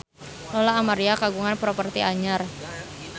Lola Amaria kagungan properti anyar